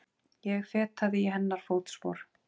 Ég fetaði í hennar fótspor.